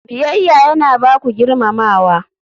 Biyayya yana ba ku girmamawa.